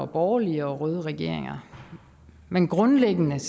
borgerlige og røde regeringer men grundlæggende